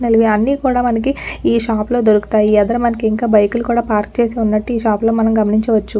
అన్ని కూడా మనకి ఈ షాప్ లో మనకి దొరుకుతాయిఏదర మనకి ఇంకా బైక్ లు కూడా పార్క్ చేసినట్లు ఈ షాప్ లో మనం గమనించవచ్చు.